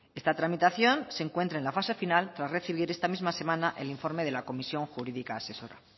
esta tramitación se encuentra en la fase final tras recibir esta misma semana el informe de la comisión jurídica asesora